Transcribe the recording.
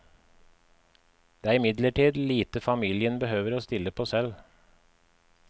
Det er imidlertid lite familien behøver å stille på selv.